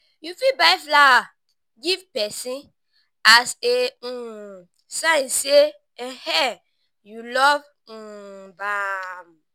you fit buy flower give prson as a um sign sey um you love um am